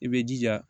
I bɛ jija